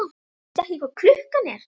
Veistu ekki hvað klukkan er?